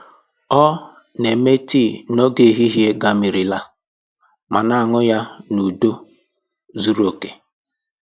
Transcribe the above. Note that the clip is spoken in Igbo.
Ọ na-eme tii n'oge ehihie gamirila ma na-aṅụ ya n’udo zuru oke